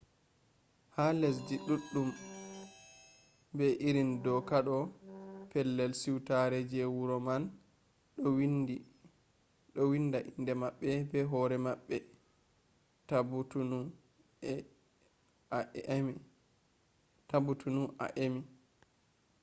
ha lesdi ɗuɗɗum be irin doka ɗo pellel suitare je wuro man ɗo winda inde maɓɓe be hoore maɓɓe tabutunu a emi